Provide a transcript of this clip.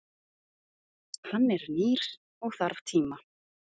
Hann er nýr og þarf tíma.